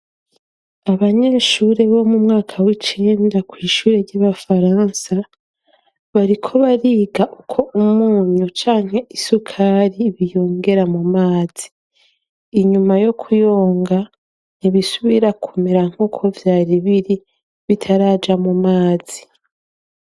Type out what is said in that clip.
Abanyesure bo mu mwaka w'icenda kw'ishure ry'abafaransa bariko bariga uko umunyu canke isukari biyongera mu mazi, inyuma yo kuyoga ntibisubira kumera nkuko vyari biri bitaraja mu mazi.